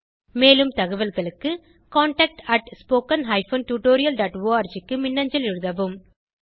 மேலும் தகவல்களுக்கு contactspoken tutorialorg க்கு மின்னஞ்சல் எழுதவும்